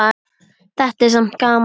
Þetta er samt gaman.